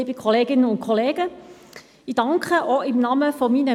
Liebe Kolleginnen und Kollegen, ich begrüsse Sie zurück in der Session.